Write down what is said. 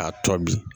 A tɔ bi